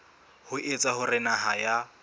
ho etsa hore naha ya